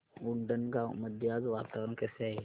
उंडणगांव मध्ये आज वातावरण कसे आहे